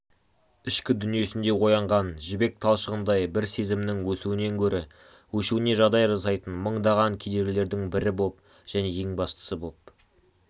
ішкі дүниесінде оянған жібек талшығындай бір сезімнің өсуінен гөрі өшуіне жағдай жасайтын мыңдаған кедергілердің бірі боп және ең бастысы боп